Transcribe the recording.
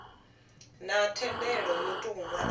na thendelo yo tou nwalwaho